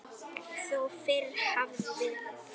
Þó fyrr hefði verið.